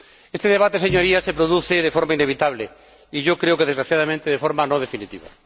Este debate, Señorías, se produce de forma inevitable y yo creo que, desgraciadamente, de forma no definitiva.